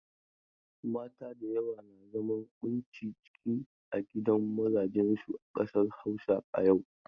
Mata da yawa na zaman ƙunci ciki a gidan mazajen su a ƙasar Hausa a yau.